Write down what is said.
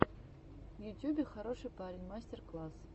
в ютюбе хороший парень мастер класс